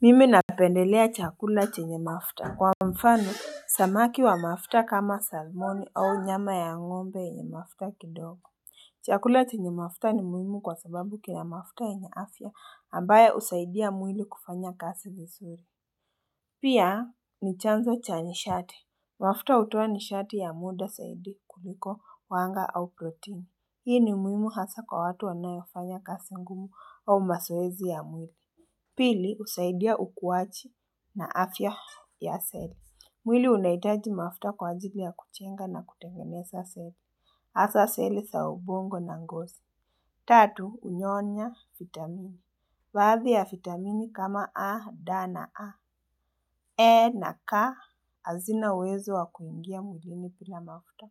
Mimi napendelea chakula chenye mafuta Kwa mfano, samaki wa mafuta kama salmoni au nyama ya ng'ombe yenye mafuta kidogo Chakula chenye mafuta ni muhimu kwa sababu kina mafuta yenye afya ambayo husaidia mwili kufanya kasi vizuri Pia ni chanzo cha nishati. Mafuta hutoa nishati ya muda zaidi kuliko wanga au proteini. Hii ni muhimu hasa kwa watu wanaofanya kazi ngumu au mazoezi ya mwili Pili husaidia ukuwaji na afya ya seli. Mwili unahitaji mafuta kwa ajili ya kujenga na kutengeza seli. Hasa seli za ubongo na ngozi. Tatu, hunyonya vitamini. Baadhi ya vitamini kama A, D, na A, E, na, K, hazina uwezo wa kuingia mwilini bila mafuta.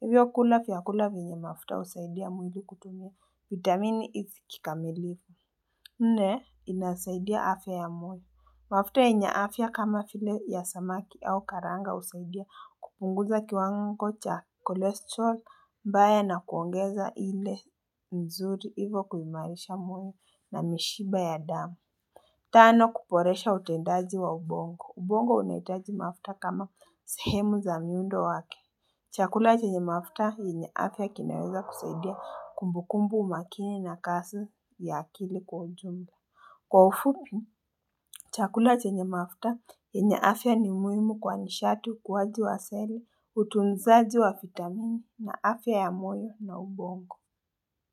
Hivyo kula vyakula vyenye mafuta husaidia mwili kutumia. Vitamini isi kikamilifu. Nne, inasaidia afya ya mwili. Mafuta yenye afya kama vile ya samaki au karanga husaidia kupunguza kiwango cha cholesterol mbaya na kuongeza ile mzuri hivo kuimarisha moyo na mishipa ya damu. Tano kuboresha utendaji wa ubongo. Ubongo unahitaji mafuta kama sehemu za miundo wake. Chakula chenye mafuta yenye afya kinaweza kusaidia kumbukumbu, umakini na kasi ya akili kwa ujumla. Kwa ufupi, chakula chenye mafuta, yenye afya ni muhimu kwa nishati ukuwaji wa seli, utunzaji wa vitamini na afya ya moyo na ubongo.